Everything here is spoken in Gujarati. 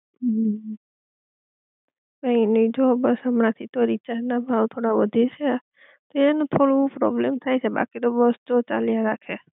હઅ હ કઈ નઇ જો બસ હમણાં થી તો રીચાર્જ ના ભાવ થોડા વધે છે એનું થોડું પ્રોબ્લેમ થઈ છે બાકી તો બસ જો ચાલ્યા